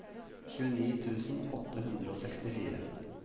tjueni tusen åtte hundre og sekstifire